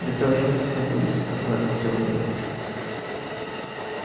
да ты вообще откуда вылез такой тёмный